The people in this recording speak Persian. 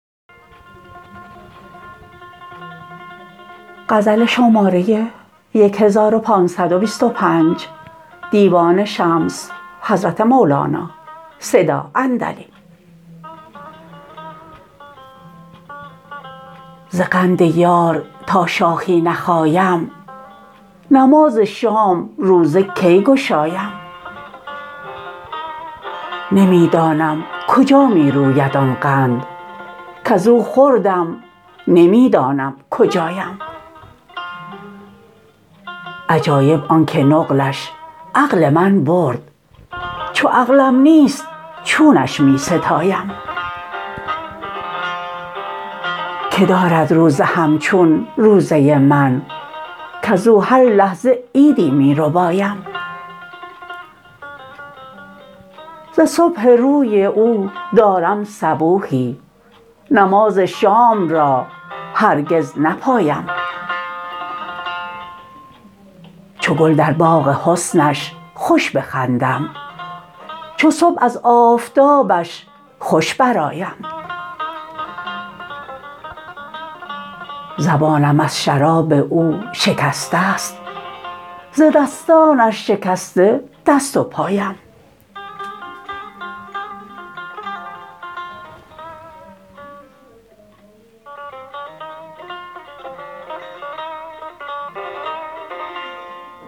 ز قند یار تا شاخی نخایم نماز شام روزه کی گشایم نمی دانم کجا می روید آن قند کز او خوردم نمی دانم کجایم عجایب آنک نقلش عقل من برد چو عقل نیست چونش می ستایم کی دارد روزه همچون روزه من کز او هر لحظه عیدی می ربایم ز صبح روی او دارم صبوحی نماز شام را هرگز نپایم چو گل در باغ حسنش خوش بخندم چو صبح از آفتابش خوش برآیم زبانم از شراب او شکسته ست ز دستانش شکسته دست و پایم